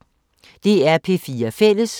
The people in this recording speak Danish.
DR P4 Fælles